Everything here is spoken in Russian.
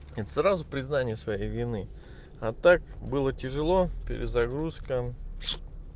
это сразу признание своей вины а так было тяжело перезагрузка